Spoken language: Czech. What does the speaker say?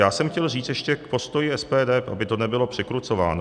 Já jsem chtěl říct ještě k postoji SPD, aby to nebylo překrucováno.